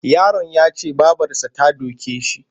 Yaron ya ce babarsa ta doke shi.